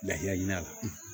Lahala ɲina